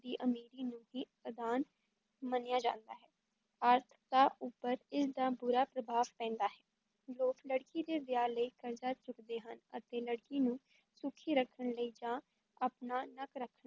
ਦੀ ਅਮੀਰੀ ਨੂੰ ਹੀ ਅਦਾਨ ਮੰਨਿਆ ਜਾਂਦਾ ਹੈ, ਆਰਥਕਤਾ ਉੱਪਰ ਇਸ ਦਾ ਬੁਰਾ ਪ੍ਰਭਾਵ ਪੈਂਦਾ ਹੈ, ਲੋਕ ਲੜਕੀ ਦੇ ਵਿਆਹ ਲਈ ਕਰਜ਼ਾ ਚੁੱਕਦੇ ਹਨ ਅਤੇ ਲੜਕੀ ਨੂੰ ਸੁਖੀ ਰੱਖਣ ਲਈ ਜਾਂ ਆਪਣਾ ਨੱਕ ਰੱਖਣ